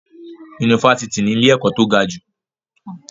Yunifásítì ní ilé-ẹ̀kọ́ tó gajù.